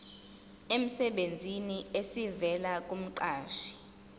emsebenzini esivela kumqashi